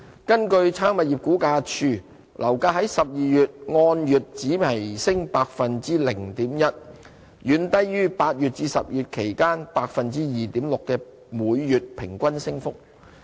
根據差餉物業估價署，樓價在12月按月只微升 0.1%， 遠低於8月至10月期間 2.6% 的每月平均升幅。